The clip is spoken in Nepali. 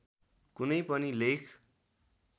कुनै पनि लेख